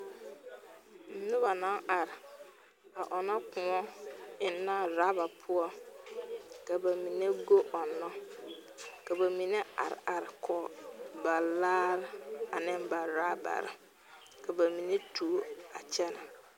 Noba la are ɔŋnɔ kʋɔ ennɛ laarepʋɔ. Ba mine goe la ɔŋnɔ kyɛ ka ba mine are kɔge laare kyɛ ka ba mine tuo a gɛrɛ